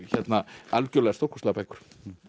algjörlega stórkostlegar bækur